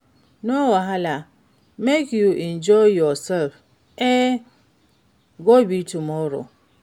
No wahala, make you enjoy yourself, e go be tomorrow.